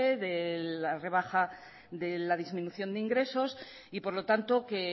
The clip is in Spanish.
de la rebaja de la disminución de ingresos y por lo tanto que